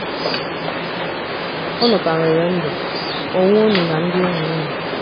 Unu ka nwere ndụ, onwe ụnụ, na ndị enyi ụnụ